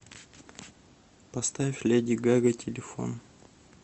поставь леди гага телефон